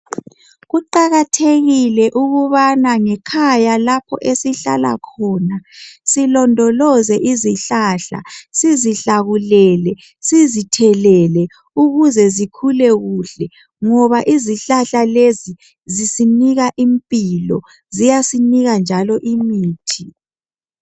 Kuqakathekile ukubana ngekhaya lapho esihlala khona silondoloze izihlahla, sizihlakulele, sizithelele ukuze zikhule kuhle ngoba izihlahla lezi zisinika impilo ziyasinika njalo imithi.